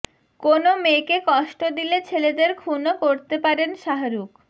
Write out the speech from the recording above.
কোনও মেয়েকে কষ্ট দিলে ছেলেদের খুনও করতে পারেন শাহরুখ